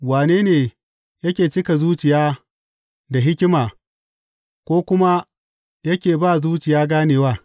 Wane ne yake cika zuciya da hikima ko kuma yake ba zuciya ganewa?